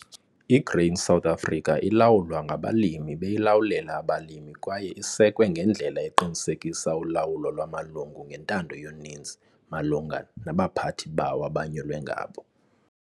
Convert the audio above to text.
I-Grain SA ilawulwa ngabalimi beyilawulela abalimi kwaye isekwe ngendlela eqinisekisa ulawulo lwamalungu ngentando yonininzi malunga nabaphathi bawo abanyulwe ngabo.